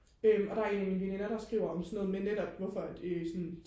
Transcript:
øhm og der er en af mine veninder der skriver om sådan noget med netop hvorfor at øh